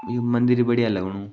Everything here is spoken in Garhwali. यु मन्दिर बढ़िया लगनु ।